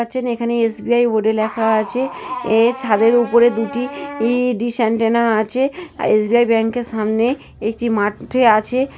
পাচ্ছেন এখানে এস.বি.আই. বোর্ডে লেখা আছে। এর ছাদের উপরে দুটি ই ডিস এন্টেনা আছে। আ এস.বি.আই. ব্যাংকের সামনে একটি মাঠ-এ আছে।